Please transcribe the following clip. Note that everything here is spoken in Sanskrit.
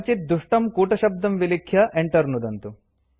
कञ्चित् दुष्टं कूटशब्दं विलिख्य enter नुदन्तु